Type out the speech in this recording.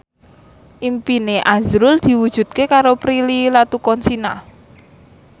impine azrul diwujudke karo Prilly Latuconsina